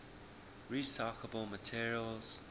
recyclable materials